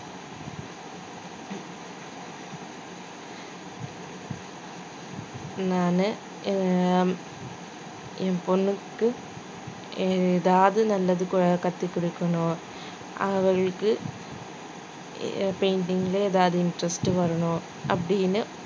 நானு எ~ என் பொண்ணுக்கு எதாவது நல்லது க~ கத்து கொடுக்கணும் அவளுக்கு எ~ painting ல ஏதாவது interest வரணும் அப்படின்னு